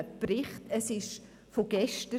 Es ist von gestern.